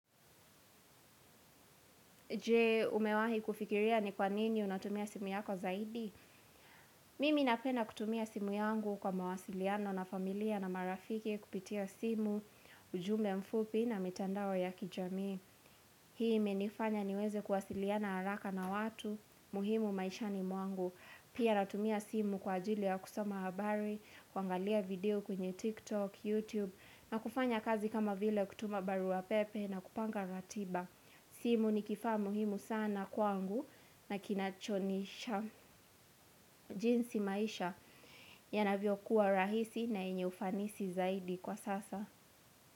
Je, umewahi kufikiria ni kwa nini unatumia simu yako zaidi? Mimi napenda kutumia simu yangu kwa mawasiliano na familia na marafiki kupitia simu, ujumbe mfupi na mitandao ya kijamii. Hii imenifanya niweze kuwasiliana haraka na watu muhimu maishani mwangu. Pia natumia simu kwa ajili ya kusoma habari, kuangalia video kwenye TikTok, YouTube, na kufanya kazi kama vile kutuma baruapepe na kupanga ratiba. Simu ni kifaa muhimu sana kwangu na jinsi maisha yanavyokuwa rahisi na yenye ufanisi zaidi kwa sasa.